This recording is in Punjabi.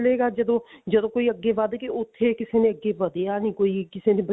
ਮਿਲੇਗਾ ਜਦੋਂ ਜਦੋਂ ਕੋਈ ਅੱਗੇ ਵੱਧ ਕੇ ਉੱਥੇ ਕਿਸੇ ਨੇ ਅੱਗੇ ਵਧਿਆ ਨੀ ਕੋਈ ਕਿਸੇ ਨੇ